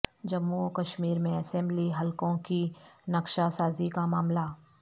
جموں و کشمیر میں اسمبلی حلقوں کی نقشہ سازی کامعاملہ